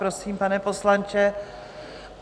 Prosím, pane poslanče.